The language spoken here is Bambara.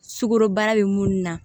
Sukorobana bɛ munnu na